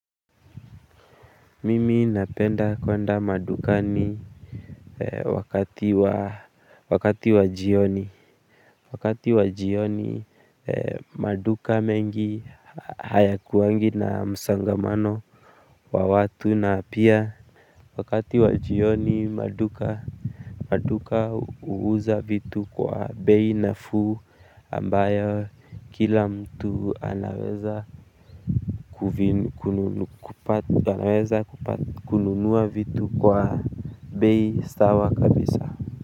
Mimi napenda kwenda madukani wakati wa jioni. Wakati wa jioni maduka mengi hayakuwangi na msongamano wa watu na pia. Wakati wa jioni maduka huuza vitu kwa bei nafuu ambayo kila mtu anaweza kupata, anaweza kupata, kununua vitu kwa bei ya kawaida kabisa.